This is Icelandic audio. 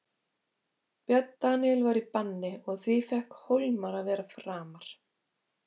Björn Daníel var í banni og því fékk Hólmar að vera framar.